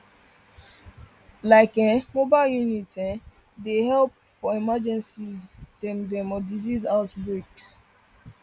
like[um]mobile units um dem dey help for emergencies dem or disease outbreaks